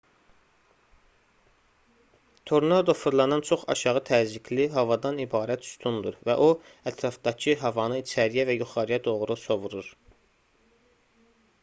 tornado fırlanan çox aşağı təzyiqli havadan ibarət sütundur və o ətrafdakı havanı içəriyə və yuxarıya doğru sovurur